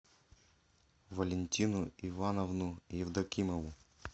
валентину ивановну евдокимову